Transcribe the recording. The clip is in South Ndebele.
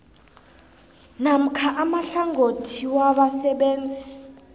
namkha amahlangothi wabasebenzi